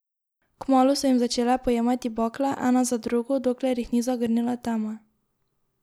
Kmalu so jim začele pojemati bakle, ena za drugo, dokler jih ni zagrnila tema.